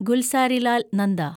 Gulzarilal Nanda